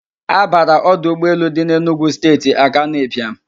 A bara ọdụ ụgbọ elu dị n'Enugwu Steeti Akanụ Ịbịam.